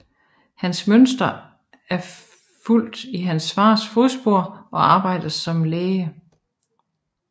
Henrik Münster er fulgt i sin fars fodspor og arbejder som læge